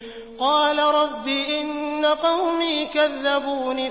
قَالَ رَبِّ إِنَّ قَوْمِي كَذَّبُونِ